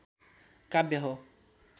काव्य हो